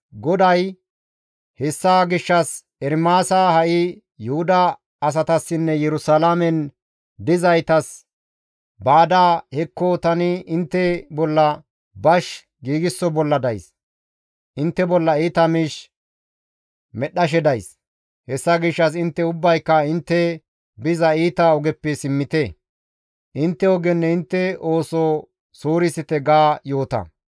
GODAY, «Hessa gishshas, Ermaasa ha7i Yuhuda asatassinne Yerusalaamen dizaytas baada, ‹Hekko tani intte bolla bash giigso bolla days; intte bolla iita miish medhdhashe days; hessa gishshas intte ubbayka intte biza iita ogeppe simmite; intte ogenne intte ooso suurisite› ga yoota.